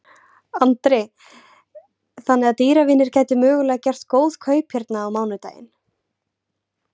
Andri: Þannig að dýravinir gætu mögulega gert góð kaup hérna á mánudaginn?